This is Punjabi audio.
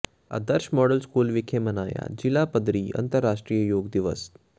ਆਦਰਸ਼ ਮਾਡਲ ਸਕੂਲ ਵਿਖੇ ਮਨਾਇਆ ਜ਼ਿਲ੍ਹਾ ਪੱਧਰੀ ਅੰਤਰਰਾਸ਼ਟਰੀ ਯੋਗ ਦਿਵਸ